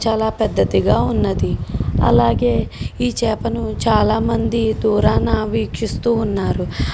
చాలా పెద్దదిగా ఉన్నది అలాగే ఈ చాప ను చాలా మంది దూరాన వీక్షిస్తూన్నారు .